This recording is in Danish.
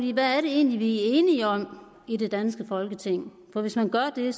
i hvad det egentlig er enige om i det danske folketing for hvis man gør det